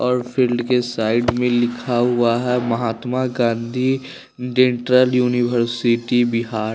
और फील्ड के साइड में लिखा हुआ है महात्मा गाँधी डेंटल यूनिवर्सिटी बिहार --